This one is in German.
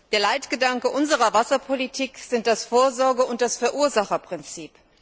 Der Leitgedanke unserer Wasserpolitik sind das Vorsorge und das Verursacherprinzip.